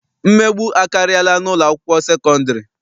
Mmegbu akarịala n'ụlọakwụkwọ sekọndịrị.